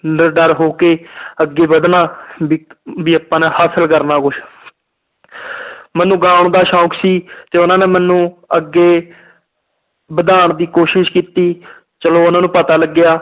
ਨਿਡਰ ਹੋ ਕੇ ਅੱਗੇ ਵਧਣਾ ਵੀ ਵੀ ਆਪਾਂ ਨੇ ਹਾਸਿਲ ਕਰਨਾ ਕੁਛ ਮੈਨੂੰ ਗਾਉਣ ਦਾ ਸ਼ੌਂਕ ਸੀ ਤੇ ਉਹਨਾਂ ਨੇ ਮੈਨੂੰ ਅੱਗੇ ਵਧਾਉਣ ਦੀ ਕੋਸ਼ਿਸ਼ ਕੀਤੀ ਚਲੋ ਉਹਨਾਂ ਨੂੰ ਪਤਾ ਲੱਗਿਆ,